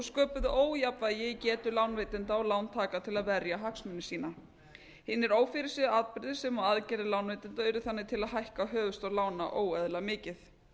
sköpuðu ójafnvægi í getu lánveitenda og lántaka til að verja hagsmuni sína hinir ófyrirséðu atburðir sem og aðgerðir lánveitenda urðu þannig til að hækka höfuðstól lána óeðlilega mikið